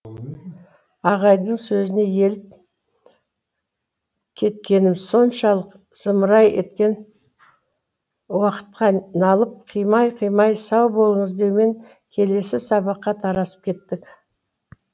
ағайдың сөзіне еліп кеткенім соншалық зымырай еткен уақытқа налып қимай қимай сау болыңыз деумен келесі сабаққа тарасып кеттік